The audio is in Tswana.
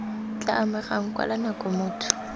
tla amegang kwala nako motho